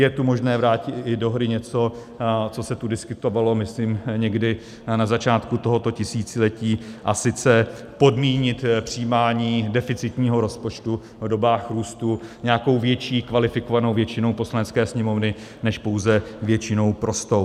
Je tu možné vrátit i do hry něco, co se tu diskutovalo, myslím, někdy na začátku tohoto tisíciletí, a sice podmínit přijímání deficitního rozpočtu v dobách růstu nějakou větší kvalifikovanou většinou Poslanecké sněmovny než pouze většinou prostou.